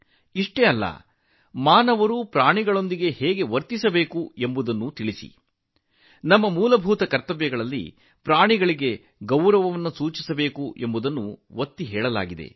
ಅಷ್ಟೇ ಅಲ್ಲ ಮನುಷ್ಯರು ಪ್ರಾಣಿಗಳೊಂದಿಗೆ ಹೇಗೆ ವರ್ತಿಸಬೇಕು ಎಂಬುದನ್ನು ಸಹ ನೀವು ಹಂಚಿಕೊಳ್ಳಬೇಕು ನಮ್ಮ ಮೂಲಭೂತ ಕರ್ತವ್ಯಗಳಲ್ಲಿಯೂ ಸಹ ಪ್ರಾಣಿಗಳಿಗೆ ಗೌರವ ನೀಡುವ ಬಗ್ಗೆ ಒತ್ತು ನೀಡಲಾಗಿದೆ